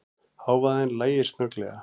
Hávaðann lægir snögglega.